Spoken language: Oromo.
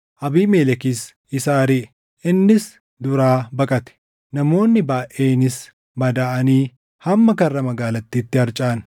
Abiimelekis isa ariʼe; innis duraa baqate; namoonni baayʼeenis madaaʼanii hamma karra magaalattiitti harcaʼan.